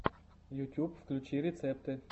ютьюб включи рецепты